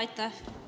Aitäh!